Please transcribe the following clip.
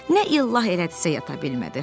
Nə ilah elədisə yata bilmədi.